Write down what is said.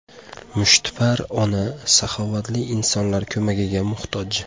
Mushtipar ona saxovatli insonlar ko‘magiga muhtoj.